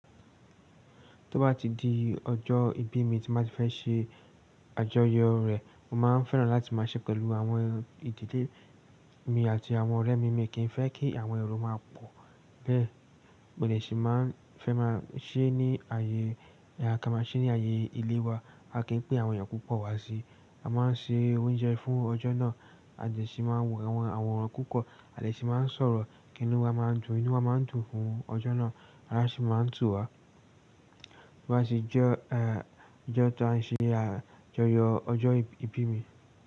Tó bá ti di ọjọ́ ìbí mi tí máa ti fẹ́ ṣe àjọyọ̀ rẹ̀, mo máa fẹ́ràn láti máa ṣe pẹ̀lú àwọn ìdílé mi àti àwọn ọ̀rẹ́ mi mìíràn. Kì í fẹ́ kí àwọn ẹrú máa pọ̀ bẹ́ẹ̀, mòlé sì máa fẹ́ máa ṣẹ́ ní ààyè, biya ká máa ṣe ní ààyè ilé wa. A kì í pín àwọn èèyàn púpọ̀ wá síi. A máa ń ṣe oúnjẹ fún ọjọ́ náà, ade sì máa ń wo àwọn àwòrán púpọ̀, a dè sì máa ń sọ̀rọ̀ kí inú wa máa dùn. Inú wa máa ń dùn fún ọjọ́ náà, arási máa ń tù wá. Tó bá tì jẹ́ ẹ́, ọjọ́ tó à ń ṣe àjọyọ̀, ọjọ́ ìbí mi.